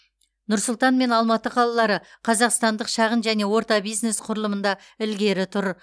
нұр сұлтан мен алматы қалалары қазақстандық шағын және орта бизнес құрылымында ілгері тұр